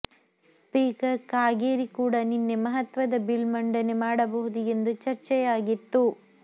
speaker Kageri ಕೂಡ ನಿನ್ನೆ ಮಹತ್ವದ ಬಿಲ್ ಮಂಡನೆ ಮಾಡಬಹುದು ಎಂದು ಚರ್ಚೆಯಾಗಿತ್ತು